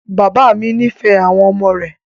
Bàbá mi nífẹ̀ẹ́ àwọn ọmọ rẹ̀.